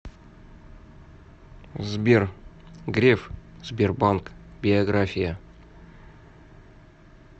сбер греф сбербанк биография